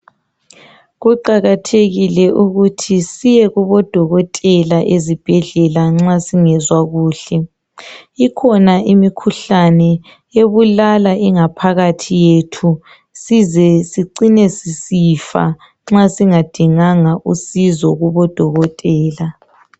Kuqakathekile ukuthi siyekubo Dokotela ezibhedlela nxa singezwa kuhle, ikhona imikhuhlane ebulala ingaphakathi yethu sizesicine sisifa nxa singadinganga usizo kubo Dokotela.